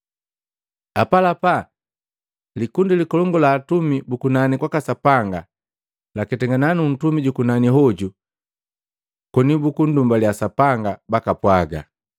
Apalapa likundi likolongu la atumi bu kunani kwaka Sapanga laketangana nu ntumi jukunani hoju, koni bukundumbalya Sapanga, bakapwaga,